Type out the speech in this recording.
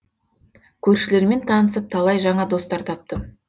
көршілермен танысып талай жаңа достар таптым